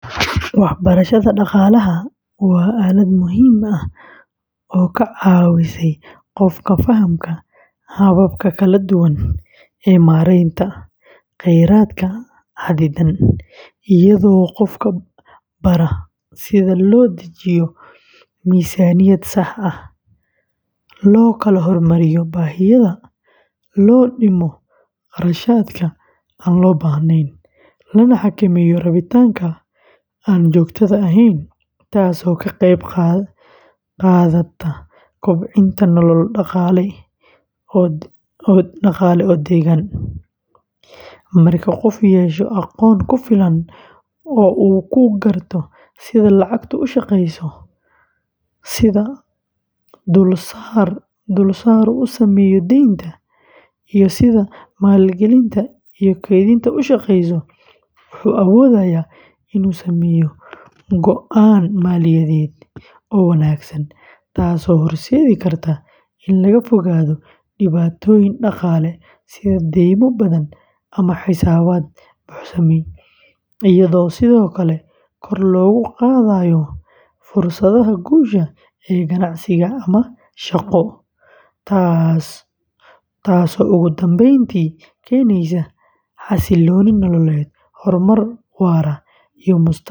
Waxbarashada dhaqaalaha waa aalad muhiim ah oo ka caawisa qofka fahamka hababka kala duwan ee maaraynta kheyraadka xaddidan, iyadoo qofka bara sida loo dejiyo miisaaniyad sax ah, loo kala hormariyo baahiyaha, loo dhimo kharashaadka aan loo baahnayn, lana xakameeyo rabitaanka aan joogtada ahayn, taasoo ka qeyb qaadata kobcinta nolol dhaqaale oo deggan; marka qofku yeesho aqoon ku filan oo uu ku garto sida lacagtu u shaqeyso, sida dulsaaru u saameeyo deynta, iyo sida maalgelinta iyo kaydintu u shaqeeyaan, wuxuu awoodayaa inuu sameeyo go’aan maaliyadeed oo wanaagsan, taasoo horseedi karta in laga fogaado dhibaatooyin dhaqaale sida deymo badan ama xisaabaad buuxsamay, iyadoo sidoo kale kor loogu qaadayo fursadaha guusha ee ganacsi ama shaqo, taasoo ugu dambeyntii keeneysa xasillooni nololeed, horumar waara iyo mustaqbal dhaqaale.